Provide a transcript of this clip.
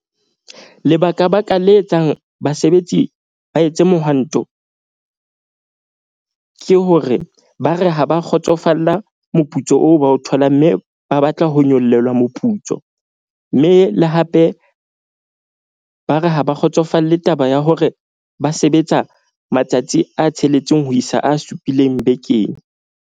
Lebaka baka le etsang basebetsi ba etse mohwanto. Ke hore ba re ha ba kgotsofalla moputso oo, ba o tholang. Mme ba batla ho nyollelwa moputso. Mme le hape ba re ha ba kgotsofalle taba ya hore ba sebetsa matsatsi a tsheletseng ho isa a supileng bekeng.